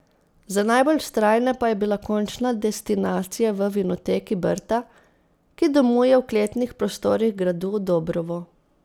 Za najbolj vztrajne pa je bila končna destinacija v Vinoteki Brda, ki domuje v kletnih prostorih gradu Dobrovo.